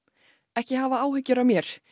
ekki hafa áhyggjur af mér